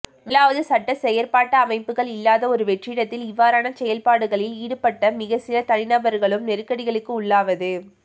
முதலாவது சட்டச் செயற்பாட்டு அமைப்புகள் இல்லாத ஒரு வெற்றிடத்தில் இவ்வாறான செயற்பாடுகளில் ஈடுபட்ட மிகச்சில தனிநபர்களும் நெருக்கடிகளுக்கு உள்ளாவது